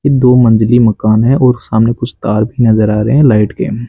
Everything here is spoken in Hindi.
दो मंजिली मकान है और सामने कुछ तार भी नजर आ रहे हैं लाइट के।